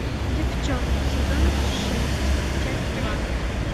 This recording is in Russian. деффчонки сезон шесть часть два